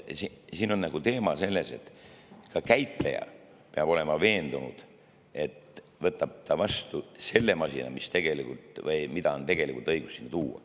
Siin on teema selles, et ka käitleja peab olema veendunud, et ta võtab vastu selle masina, mida on tegelikult õigus sinna tuua.